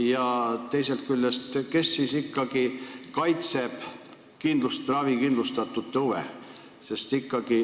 Ja teisest küljest: kes siis ikkagi kaitseb ravikindlustatute huve?